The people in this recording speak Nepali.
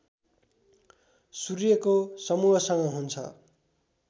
सूर्यको समूहसँग हुन्छ